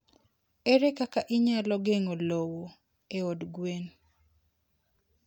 Ere kaka inyalo geng'o lowo e od gwen?